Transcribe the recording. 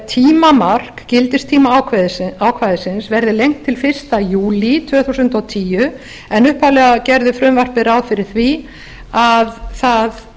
tímamark gildistímaákvæðisins verði lengt til fyrsta júlí tvö þúsund og tíu en upphaflega gerði frumvarpið ráð fyrir því að það